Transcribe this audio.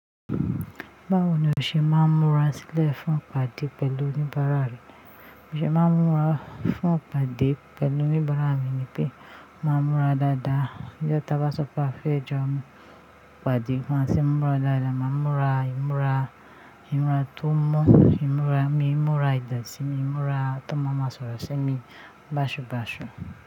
Báwo ni o ṣe máa ń múra sílẹ̀ fún ìpàdé pẹ̀lú oníbàárà rẹ? O ṣe máa ń múra fún ìpàdé pẹ̀lú oníbàárà mi ni pé mà á múra dáadáa. Nijo ta bá sọ pé a fẹ́ jọ pàdé, bá ṣé n múra dáadáa, mà á múra, ì múra, ì múra tó mọ́, ì múra mi, ì múra ìdọ̀tí mi, ì múra ta n ma ma sọ̀rọ̀ ṣi mi báṣubàṣu.